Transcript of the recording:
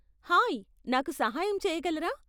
Hi, నాకు సహాయం చేయగలరా?